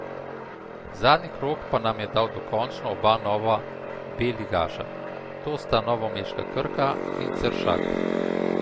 Zadnji krog pa nam je dal dokončno oba nova B ligaša, to sta novomeška Krka in Ceršak.